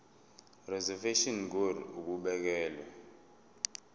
reservation ngur ukubekelwa